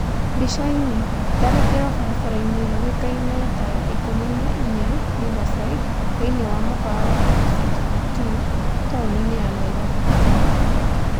Mbica-inĩ: Tharĩkiro barabara-inĩ yũwĩkaine ta ya ikũmi na ina (14) Riverside thĩiniĩ wa mũkawa wa DusitD2 taũni-inĩ ya Nairobi, Kenya.